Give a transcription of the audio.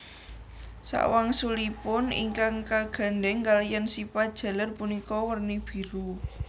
Sakwangsulipun ingkang kagandhèng kaliyan sipat jaler punika werni biru